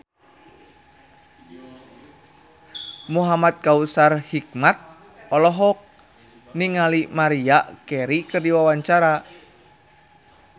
Muhamad Kautsar Hikmat olohok ningali Maria Carey keur diwawancara